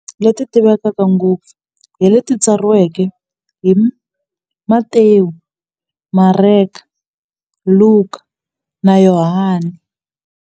Yena na tidyondzo ta yena, leti tivekaka ngopfu hi leti tsariweke hi Matewu, Mareka, Luka, na Yohani.